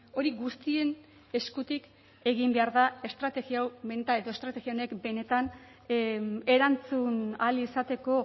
horien guztien eskutik egin behar da estrategia honek benetan erantzun ahal izateko